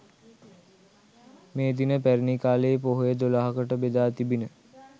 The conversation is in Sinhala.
මේ දින පැරැණි කාලයේ පොහොය දොළහකට බෙදා තිබිණ